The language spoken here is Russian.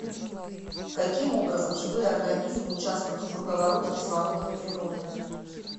каким образом живые организмы участвуют в круговороте кислорода в природе